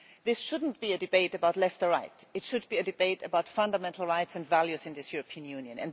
This should not be a debate about left or right it should be a debate about fundamental rights and values in this European Union.